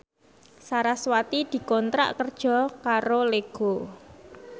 sarasvati dikontrak kerja karo Lego